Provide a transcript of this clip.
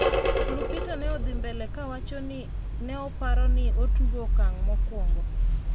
Lupita ne odhi mbele kawacho ni ne oparo ni otugo okang' mokuongo